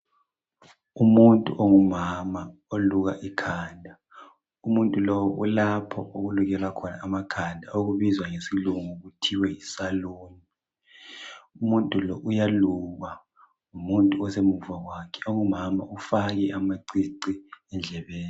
Umuntu ongumama oluka ikhanda. Umuntu lo ulapha okulukelwa khona amakhanda, okubizwa ngesilungu kuthiwa yisaloon. Umuntu lo uyalukwa ngumuntu osemuva kwakhe. Ongumama. Ufake amacici endlebeni.